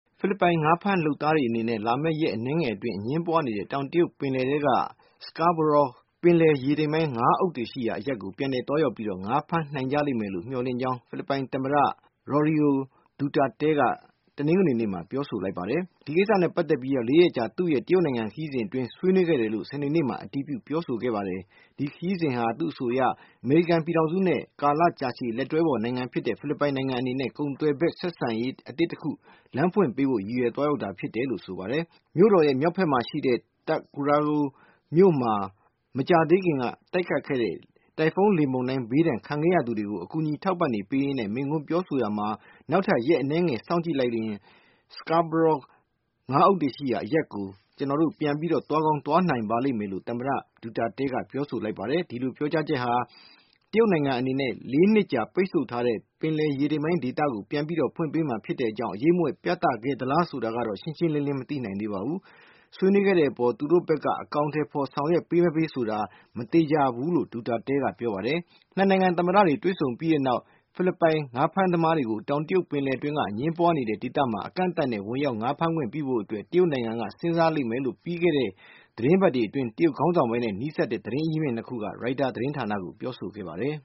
ဖိလစ်ပိုင် ငါးဖမ်းလုပ်သားတွေအနေနဲ့ လာမယ့်ရက် အနည်းငယ်အတွင်း အငြင်းပွားနေတဲ့ တောင်တရုတ်ပင်လယ်ထဲက Scarborough ပင်လယ်ရေတိမ်ပိုင်း ငါးအုပ်တွေရှိရာအရပ်ကို ပြန်လည်သွားရောက်ပြီး ငါးဖမ်းနိုင်ကြလိမ့်လို့ မျှော်လင့်ကြောင်း ဖိလစ်ပိုင်သမ္မတ Rodrigo Duterte က တနင်္ဂနွေနေ့မှာ ပြောဆိုလိုက်ပါတယ်။ ဒီကိစ္စနဲ့ပတ်သက်ပြီး ၄ ရက်ကြာ သူ့ရဲ့ တရုတ်နိုင်ငံ ခရီးစဉ်အတွင်း ဆွေးနွေးခဲ့တယ်လို့ စနေနေ့မှာ အတည်ပြု ပြောဆိုခဲ့ပါတယ်။ ဒီခရီးစဉ်ဟာ့ သူ့အဆိုအရ အမေရိကန်ပြည်ထောင်စုနဲ့ ကာလရှည်ကြာလက်တွဲဖေါ် နိုင်ငံဖြစ်တဲ့ ဖိလစ်ပိုင် နိုင်ငံအနေနဲ ကုန်သွယ်ဖက် ဆက်ဆံရေးအသစ်တခု လမ်းဖွင့်ပေးဖို့ ရည်ရွယ် သွားရောက်တာဖြစ်ပါတယ်။ မြို့တော်ရဲ့ မြောက်ဖက်မှာရှိတဲ့ Tuguegarao မြို့မှာ မကြာသေးခင်က တိုက်ခတ်ခဲ့တဲ့ တိုင်ဖုန်းလေမုန်တိုင်းဘေးဒဏ် ခံခဲ့ရသူတွေကို အကူညီ အထောက်ပံ့တွေ ပေးရင်း မိန့်ခွန်းပြောဆိုရာမှာ နောက်ထပ်ရက် အနည်းငယ် စောင့်ကြည့် လိုက်ပါ Scarborough ငါးအုပ်တွေရှိရာအရပ်ကို ကျနော်တို့ ပြန်သွားကောင်း သွားရောက်နိုင်ပါ လိမ့်မယ်လို့ သမ္မတ Duterte က ပြောဆိုသွားပါတယ်။ ဒီလို ပြောကြားချက်က တရုတ်နိုင်ငံအနေနဲ့ နှစ်ကြာ ပိတ်ဆို့ထားခဲ့တဲ့ ပင်လယ်ရေတမ်ပိုင်းဒေသကို ပြန်ပြီးတော့ ဖွင့်ပေးမှာ ဖြစ်တဲ့အကြောင်း အရိပ်မြွက် ပြသခဲ့သလားဆိုတာကိုတော့ ရှင်းရှင်းလင်းလင်း မသိနိုင်သေးပါဘူး။ ဆွေးနွေးခဲ့တဲ့အပေါ်မှာ သူတို့ဘက်က အကောင်ထည်ဖေါ် ဆောင်ရွက်ပေးမပေး ဆိုတာကတော့ မသေခြာဘူးလို့ Duterte ကပြောပါတယ်။ နှစ်နိုင်ငံ သမ္မတတွေ တွေ့ဆုံခဲ့ပြီးတဲ့နောက် ဖိလစ်ပိုင်ငါးဖမ်းသမားတွေကို တောင်တရုတ်ပင်လယ် အတွင်းက အငြင်းပွားနေတဲ့ ဒေသမှာ အကန့်သတ်နဲ့ ဝင်ရောက်ငါးဖမ်းခွင့်ပြုဖို့ တရုတ်နိုင်ငံက စဉ်းစားလိမ့်မယ်လို့ ပြီးခဲ့တဲ့ သတင်းပတ်အတွင်း တရုတ်ခေါင်းဆောင်ပိုင်းနဲ့ နီးစပ်တဲ့ သတင်းအရင်းမြစ် ခုက Reuters သတင်းဌာနကို ပြောဆိုခဲ့ကြပါတယ်။